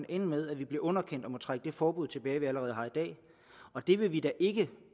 ende med at vi blev underkendt og måtte trække det forbud tilbage vi allerede har i dag og det vil vi da ikke